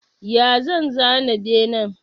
Ya zan zana bene?